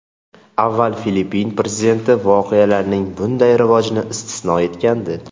Avval Filippin prezidenti voqealarning bunday rivojini istisno etgandi.